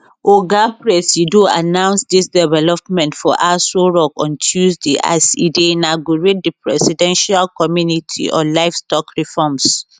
oga presido announce dis development for aso rock on tuesday as e dey inaugurate di presidential committee on livestock reforms